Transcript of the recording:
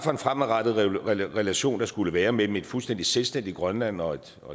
fremadrettet relation der skulle være mellem et fuldstændig selvstændigt grønland og et